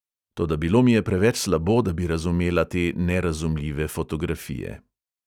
Toda bilo mi je preveč slabo, da bi razumela te nerazumljive fotografije.